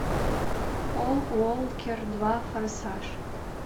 пол уокер два форсаж